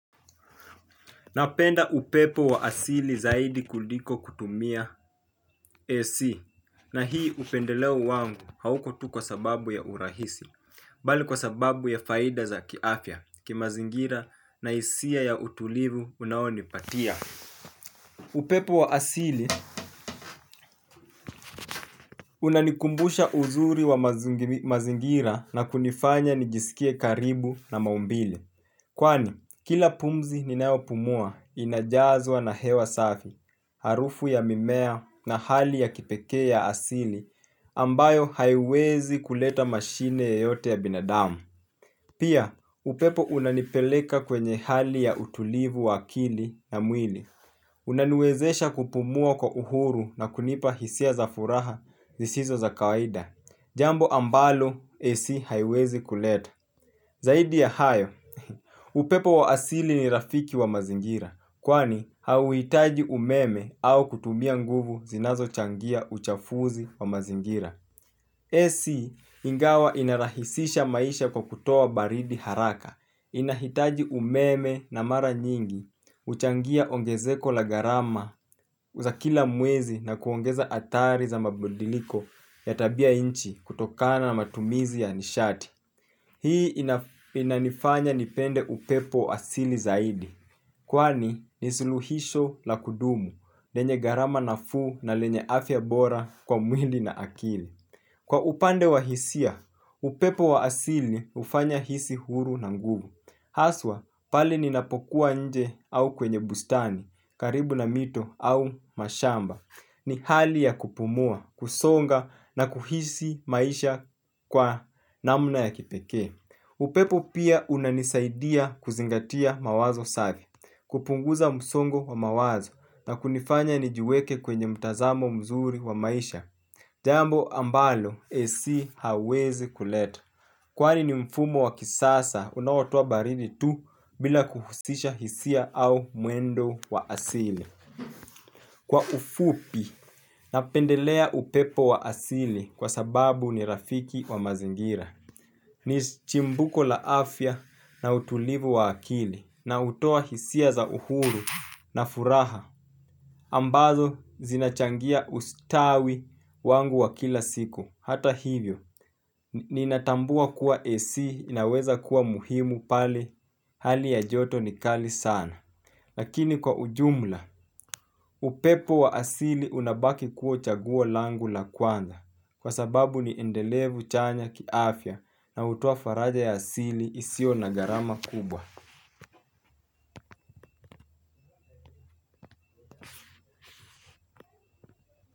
Napenda upepo wa asili zaidi kuliko kutumia AC na hii upendeleo wangu hauko tu kwa sababu ya urahisi. Bali kwa sababu ya faida za kiafya, kimazingira na hisia ya utulivu unaonipatia upepo wa asili unanikumbusha uzuri wa mazingira na kunifanya nijisikie karibu na maumbile. Kwani, kila pumzi ninao pumua inajazwa na hewa safi, harufu ya mimea na hali ya kipekee ya asili ambayo haiwezi kuleta mashine yoyote ya binadamu. Pia, upepo unanipeleka kwenye hali ya utulivu wa akili na mwili. Unaniwezesha kupumua kwa uhuru na kunipa hisia za furaha zisizo za kawaida. Jambo ambalo AC haiwezi kuleta. Zaidi ya hayo, upepo wa asili ni rafiki wa mazingira, kwani hauhitaji umeme au kutumia nguvu zinazo changia uchafuzi wa mazingira. AC ingawa inarahisisha maisha kwa kutoa baridi haraka, inahitaji umeme na mara nyingi, huchangia ongezeko la gharama za kila mwezi na kuongeza hatari za mabadiliko ya tabia nchi kutokana na matumizi ya nishati. Hii inanifanya nipende upepo asili zaidi. Kwa upande wa hisia, upepo wa asili hufanya hisi huru na nguvu. Haswa, pale ninapokuwa inje au kwenye bustani, karibu na mito au mashamba. Ni hali ya kupumua, kusonga na kuhisi maisha kwa namna ya kipekee. Upepo pia unanisaidia kuzingatia mawazo safi, kupunguza msongo wa mawazo na kunifanya nijiweke kwenye mtazamo mzuri wa maisha. Jambo ambalo AC hawezi kuleta. Kwani ni mfumo wa kisasa, unaotoa baridi tu bila kuhusisha hisia au mwendo wa asili. Kwa ufupi, napendelea upepo wa asili kwa sababu ni rafiki wa mazingira. Ni chimbuko la afya na utulivu wa akili na hutoa hisia za uhuru na furaha. Ambazo zinachangia ustawi wangu wa kila siku. Hata hivyo, ninatambua kuwa AC inaweza kuwa muhimu pale, hali ya joto ni kali sana. Lakini kwa ujumla, upepo wa asili unabaki kuwa chaguo langu la kwanza kwa sababu ni endelevu chanya kiafya na hutoa faraja ya asili isio na gharama kubwa.